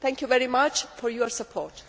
Thank you very much for your support.